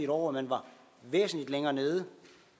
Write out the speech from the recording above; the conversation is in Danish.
år hvor man var væsentlig længere nede